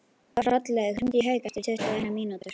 Hrollaugur, hringdu í Hauk eftir tuttugu og eina mínútur.